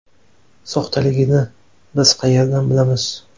Soxtaligini biz qayerdan bilamiz?